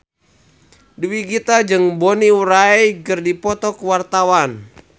Dewi Gita jeung Bonnie Wright keur dipoto ku wartawan